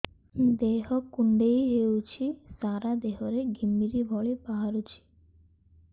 ଦେହ କୁଣ୍ଡେଇ ହେଉଛି ସାରା ଦେହ ରେ ଘିମିରି ଭଳି ବାହାରୁଛି